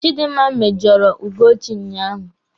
Chidinma mèjọ̀rọ̀ Ugochi unyaahụ.